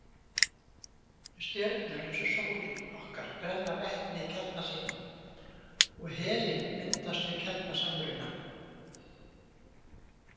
Stjörnur eins og sólin okkar brenna vetni í kjarna sínum og helín myndast með kjarnasamruna.